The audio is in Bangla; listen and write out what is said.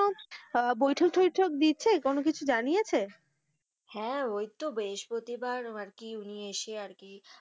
আহ বৈঠক-থৈঠক দিচ্ছে কোনো কিছু জানিয়েছে, হ্যাঁ, ওই তো বৃহস্পতিবার আরকি উনি এসে উনি আরকি,